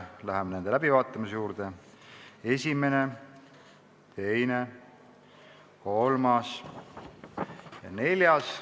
Läheme nende läbivaatamise juurde: esimene, teine, kolmas ja neljas.